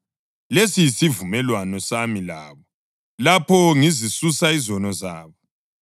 Lesi yisivumelwano sami labo lapho ngizisusa izono zabo.” + 11.27 U-Isaya 59.20-21; 27.9; UJeremiya 31.33-34